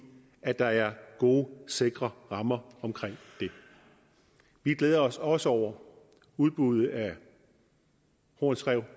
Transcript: at der er gode sikre rammer omkring det vi glæder os også over udbuddet af horns rev